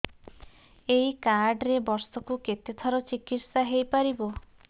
ଏଇ କାର୍ଡ ରେ ବର୍ଷକୁ କେତେ ଥର ଚିକିତ୍ସା ହେଇପାରିବ